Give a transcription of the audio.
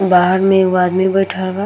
बाहर मे एगो आदमी बैठल बा।